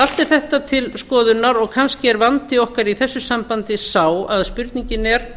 allt er þetta til skoðunar og kannski er vandi okkar í þessu sambandi sá að spurningin er